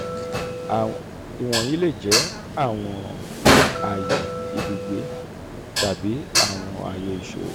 iwọnyi le jẹ awọn aye ibugbe tabi awọn aye iṣowo.